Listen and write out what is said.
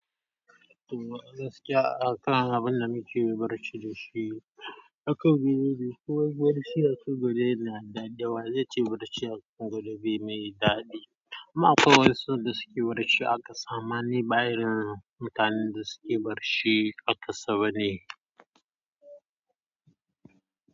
To, gaskiya akan abunda nake barci da shi. Aka gudu da suwa barci aka gude na da, da waje ce barci aka gudu bi mai daɗi. Ina kan matashin wuya amma ni bayamin daɗin barci.